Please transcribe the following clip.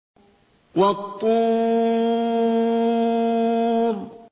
وَالطُّورِ